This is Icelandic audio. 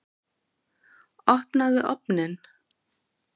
Opnaðu ofninn!